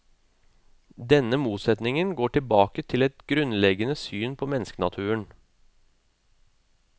Denne motsetningen går tilbake til et grunnleggende syn på menneskenaturen.